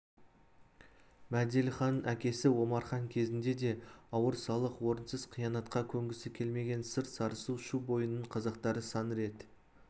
мәделіханның әкесі омархан кезінде де ауыр салық орынсыз қиянатқа көнгісі келмеген сыр сарысу шу бойының қазақтары сан рет